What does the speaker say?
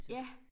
Ja